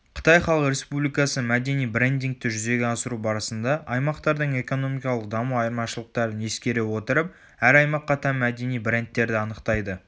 қытай халық республикасы мәдени брендингті жүзеге асыру барысында аймақтардың экономикалық даму айырмашылықтарын ескере отырып әр аймаққа тән мәдени брендтерді анықтайды